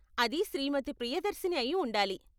అది శ్రీమతి ప్రియదర్శిని అయి ఉండాలి.